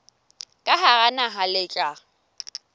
ka hara naha le tla